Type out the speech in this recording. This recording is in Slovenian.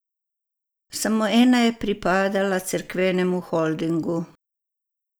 Samo ena je pripadala cerkvenemu holdingu.